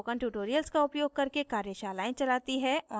spoken tutorials का उपयोग करके कार्यशालाएं चलाती है